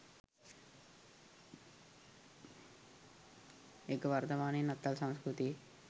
ඒක වර්තමානෙ නත්තල් සංස්කෘතියෙ